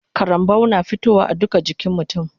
Karambau na fitowa a duka jikin mutun